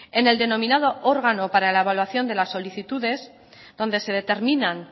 en el denominado órgano para la evaluación de las solicitudes donde se determinan